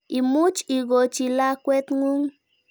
Imuch ikochi lakwet ng'ung'.